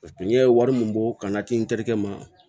n ye wari min bɔ ka n'a ci n terikɛ ma